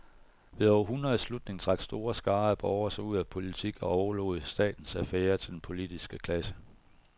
Ved århundredets slutning trak store skarer af borgere sig ud af politik og overlod statens affærer til den politiske klasse.